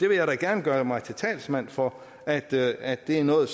vil gerne gøre mig til talsmand for at at det er noget